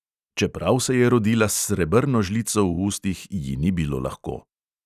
Čeprav se je rodila s srebrno žlico v ustih, ji ni bilo lahko.